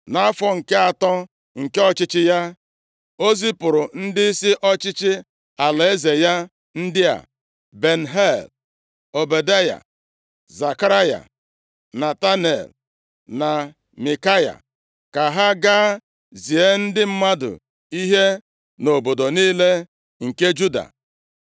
Nʼafọ nke atọ nke ọchịchị ya, o zipụrụ ndịisi ọchịchị alaeze ya ndị a, Ben-Hail, Ọbadaya, Zekaraya, Netanel na Mikaya ka ha gaa zie ndị mmadụ ihe nʼobodo niile nke Juda.